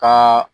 Ka